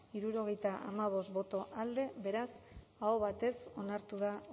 hirurogeita hamabost boto alde beraz aho batez onartu da